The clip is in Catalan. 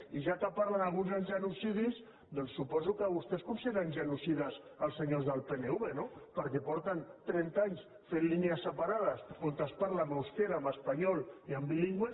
i ja que parlen alguns de genocidis doncs suposo que vostès consideren genocides els senyors del pnv no perquè fa trenta anys que fan línies separades on es parla en eusquera en espanyol i en bilingüe